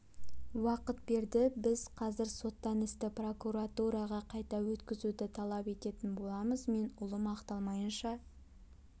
уақыт берді біз қазір соттан істі прокуратураға қайта өткізуді талап ететін боламыз мен ұлым ақталмайынша